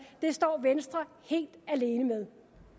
det står venstre helt alene med